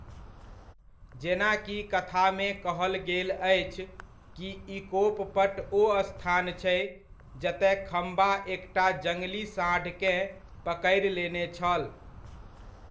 जेनाकि कथामे कहल गेल अछि कि इकोप पट ओ स्थान छै जतय खम्बा एकटा जङ्गली सांढकेँ पकड़ि लेने छल।